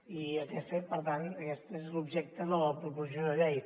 i aquest fet per tant és l’objecte de la proposició de llei